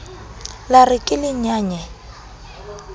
la re ke le nyaye